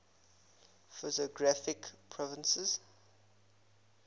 physiographic provinces